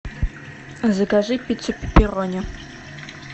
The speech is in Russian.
закажи пиццу пепперони